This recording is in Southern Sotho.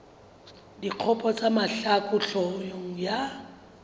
dikgopo tsa mahlaku hloohong ya